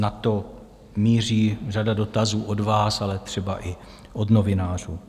Na to míří řada dotazů od vás, ale třeba i od novinářů.